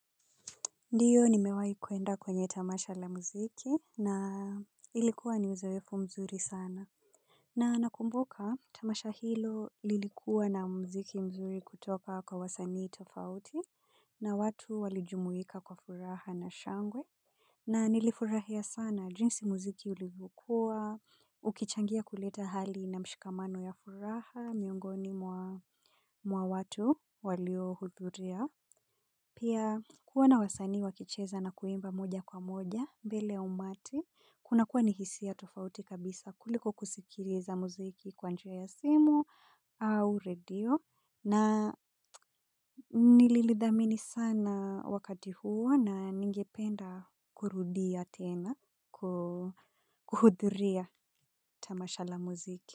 Ndiyo nimewahi kwenda kwenye tamasha la muziki na ilikuwa ni uzoefu mzuri sana. Na nakumbuka tamasha hilo lilikuwa na muziki mzuri kutoka kwa wasanii tofauti na watu walij jumuika kwa furaha na shangwe. Na nilifurahia sana jinsi muziki ulivokua, uki changia kuleta hali na mshikamano ya furaha, miongoni mwa watu walio hudhuria. Pia kuwa na wasanii wa kicheza na kuimba moja kwa moja mbele umati. Kuna kuwa ni hisia tofauti kabisa kuliko kusikiliza muziki kwa njia ya simu au radio. Na nilili thamini sana wakati huo na ningependa kurudia tena kuhudhuria tamasha la muziki.